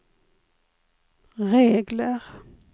regler